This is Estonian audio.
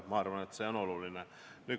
Ma arvan, et see on oluline.